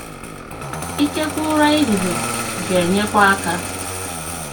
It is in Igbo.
Ìkekwe Ụrà ehihie gā-enyekwa aka.